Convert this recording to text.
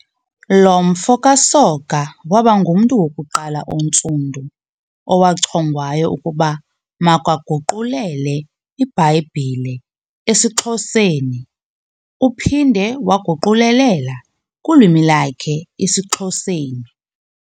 Lo mfo kaSoga wabangumntu wokuqala ontsundu owachongwayo ukuba makaguqulele iBhayibhile esiXhoseni uphinde waguqulelela kwilwini lakhe isiXhoseni